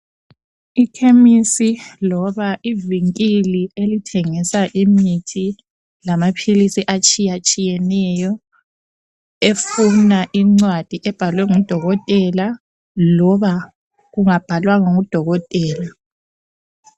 Ikhemisi loba i vinkili elithengisa imithi lamaphilisi atshiyatshiyeneyo efuna incwadi ebhalwe ngu dokotela loba ungabhalwangwa ngu dokotela